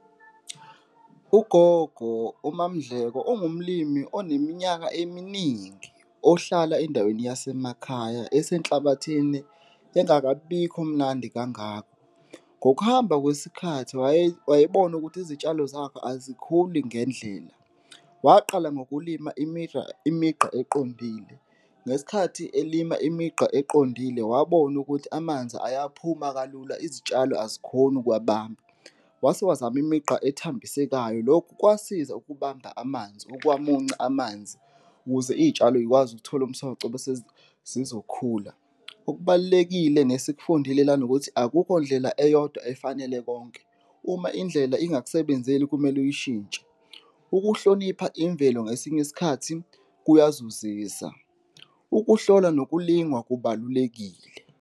Ugogo uMaMdleko ungumlimi oneminyaka eminingi ohlala endaweni yasemakhaya ese enhlabathini, engakabikho mnandi kangako. Ngokuhamba kwesikhathi wayebona ukuthi izitshalo zakhe azikhuli ngendlela. Waqala ngokulima imigqa eqondile, ngesikhathi elima imigqa eqondile wabona ukuthi amanzi ayaphuma kalula izitshalo azikhoni ukuwabamba, wase wazama imigqa ethambisekayo, lokhu kwasiza ukubamba amanzi, ukuwamunca amanzi ukuze iy'tshalo zikwazi ukuthola umsoco bese zizokhula. Okubalulekile nesikufundile lana ukuthi akukho ndlela eyodwa efanele konke, uma indlela ingakusebenzeli kumele uyishintshe, ukuhlonipha imvelo ngesinye isikhathi kuyazuzisa, ukuhlola nokulingwa kubalulekile.